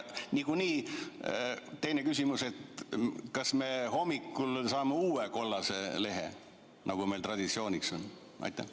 Teine küsimus: kas me hommikul saame uue kollase lehe, nagu meil traditsiooniks on saanud?